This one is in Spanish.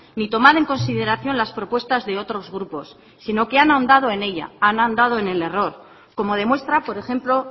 ni tomar en consideración las propuestas de otros grupos sino que han ahondado en ella han ahondado en el error como demuestra por ejemplo